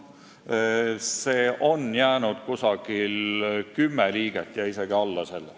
Vahetuses oleks ilmselt umbes kümme liiget, isegi alla selle.